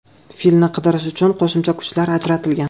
Filni qidirish uchun qo‘shimcha kuchlar ajratilgan.